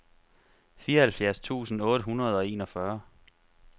fireoghalvfjerds tusind otte hundrede og enogfyrre